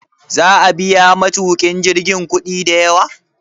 Za'a biya matukin jirgin kudi da yawa?